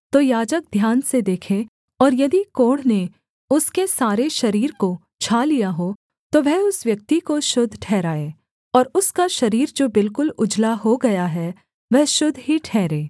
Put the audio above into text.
तो याजक ध्यान से देखे और यदि कोढ़ ने उसके सारे शरीर को छा लिया हो तो वह उस व्यक्ति को शुद्ध ठहराए और उसका शरीर जो बिलकुल उजला हो गया है वह शुद्ध ही ठहरे